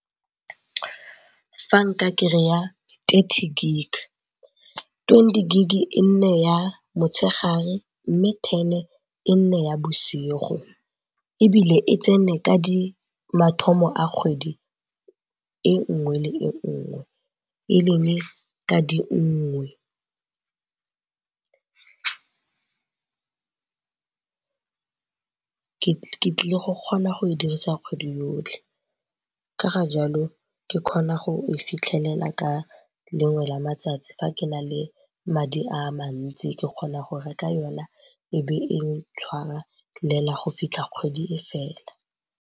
Fa nka kry-a thirty gig, twenty gig-e e nne ya motshegare mme ten-e e nne ya bosigo. Ebile e tsene ka mathomo a kgwedi e nngwe le e nngwe e leng ka di nngwe . Ke tlile go kgona go e dirisa kgwedi yotlhe ka ga jalo ke kgona go e fitlhelela ka lengwe la matsatsi fa ke na le madi a mantsi ke kgona go reka yona e be e tshwarelela go fitlha kgwedi e fela.